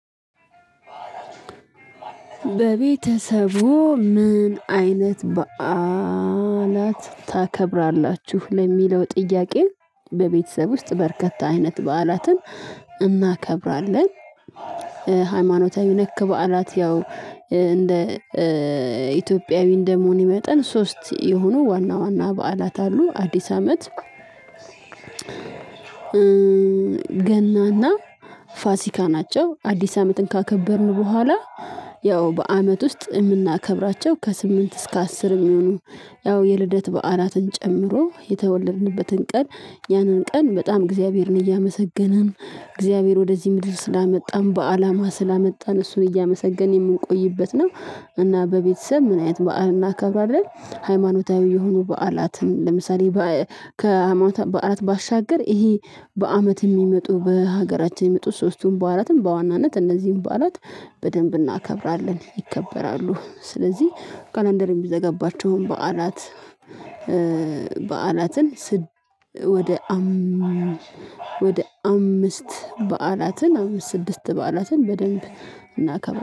በቤተሰቡ ምን አይነት በዓላት ታከብራላችሁ? ለሚለው ጥያቄው በቤተሰብ ውስጥ በርከት አይነት በዓላትን እናከብራለን። ሃይማኖታዊ ነክ በዓላት ያው እንደ ኢትዮጵያዊ እንደመሆኔ መጠን ሶስት የሆኑ ዋና ዋና በዓላት አሉ አዲስ አመት ገናና ፋሲካ ናቸው። አዲስ አመትን ካከበርን በኋላ ያው በአመት ውስጥ የምናከብራቸው ከስምንት እስከ አስር እሚሆኑ ያው የልደት በዓላትን ጨምሮ የተወለድንበትን ቀን ያንን ቀን በጣም እግዚአብሔርን እያመሰገንን እግዚአብሔር ወደዚህ ምድር ስላመጣን በአላማ ስላመጣን እሱን እያመሰገንን የምንቆይበት ነው። እና በቤተሰብ ምን አይነት በዓል እናከብራለን? ሃይማኖታዊ የሆኑ በዓላትን ለምሳሌ ከሃይማኖታዊ በዓላት ባሻገር ይሄ በአመት የሚመጡ በሀገራችን የሚመጡ ሶስቱን በአራትም በዋናነት እነዚህን በዓላት በደንብ እናከብራለን። ይከበራሉ ስለዚህ ካላንደር የሚዘገባቸውን በዓላት በዓላትን ስድስ ወደ አም ወደ አምስት በዓላትን አምስት ስድስት በዓላትን በደንብ እናከበራለን